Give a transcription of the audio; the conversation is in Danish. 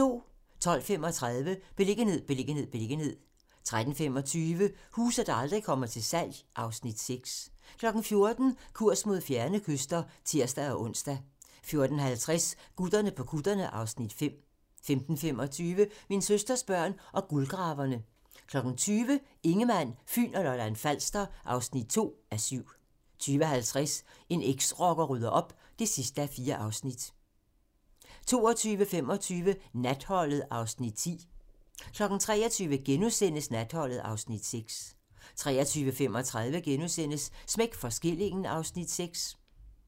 12:35: Beliggenhed, beliggenhed, beliggenhed 13:25: Huse, der aldrig kommer til salg (Afs. 6) 14:00: Kurs mod fjerne kyster (tir-ons) 14:50: Gutterne på kutterne (Afs. 5) 15:25: Min søsters børn og guldgraverne 20:00: Ingemann, Fyn og Lolland-Falster (2:7) 20:50: En eksrocker rydder op (4:4) 22:25: Natholdet (Afs. 10) 23:00: Natholdet (Afs. 6)* 23:35: Smæk for skillingen (Afs. 6)*